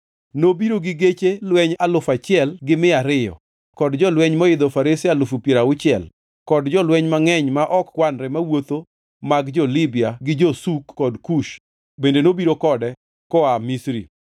Nobiro gi geche lweny alufu achiel gi mia ariyo kod jolweny moidho farese alufu piero auchiel kod jolweny mangʼeny ma ok kwanre mawuotho mag jo-Libya gi jo-Suk kod Kush bende nobiro kode koa Misri,